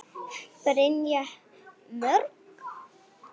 Brynja: Mörg?